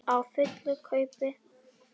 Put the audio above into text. Á fullu kaupi.